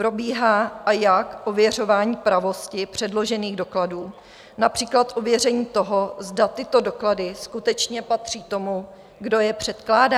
Probíhá, a jak, ověřování pravosti předložených dokladů, například ověření toho, zda tyto doklady skutečně patří tomu, kdo je předkládá?